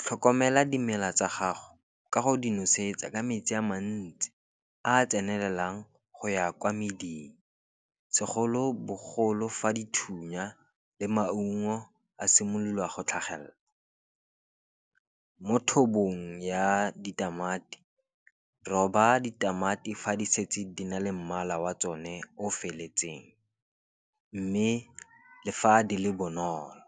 tlhokomela dimela tsa gago ka go di nosetsa ka metsi a mantsi a tsenelelang go ya kwa meding. Segolobogolo fa dithunya le maungo a simolola go tlhagelela, mo thobong ya ditamati roba ditamati fa di setse di na le mmala wa tsone o feletseng, mme le fa di le bonolo.